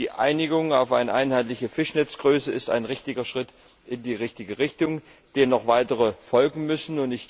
Die Einigung auf eine einheitliche Fischnetzgröße ist ein richtiger Schritt in die richtige Richtung, dem noch weitere folgen müssen.